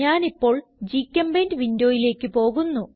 ഞാനിപ്പോൾ ഗ്ചെമ്പെയിന്റ് വിൻഡോയിലേക്ക് പോകുന്നു